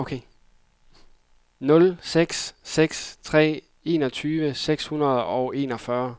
nul seks seks tre enogtyve seks hundrede og enogfyrre